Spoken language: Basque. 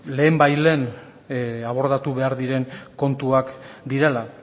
lehen bait lehen abordatu behar diren kontuak direla